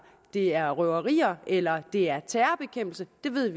det er røverier eller om det er terrorbekæmpelse vi ved